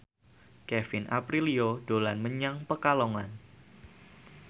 Kevin Aprilio dolan menyang Pekalongan